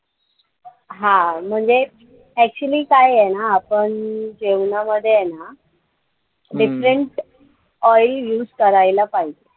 हा म्हणजे actually काय आहे ना आपण जेवणामध्ये आहे ना different oil use करायला पाहिजे.